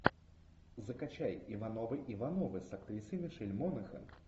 закачай ивановы ивановы с актрисой мишель монахэн